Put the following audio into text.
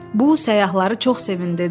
Bu səyyahları çox sevindirdi.